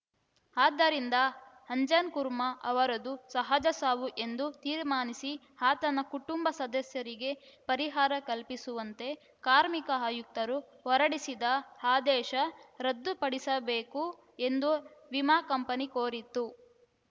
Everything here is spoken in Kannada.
ಆದ್ದರಿಂದ ಅಂಜನ್‌ ಕುರ್ಮಾ ಅವರದು ಸಹಜ ಸಾವು ಎಂದು ತೀರ್ಮಾನಿಸಿ ಆತನ ಕುಟುಂಬ ಸದಸ್ಯರಿಗೆ ಪರಿಹಾರ ಕಲ್ಪಿಸುವಂತೆ ಕಾರ್ಮಿಕ ಆಯುಕ್ತರು ಹೊರಡಿಸಿದ ಆದೇಶ ರದ್ದುಪಡಿಸಬೇಕು ಎಂದು ವಿಮಾ ಕಂಪನಿ ಕೋರಿತ್ತು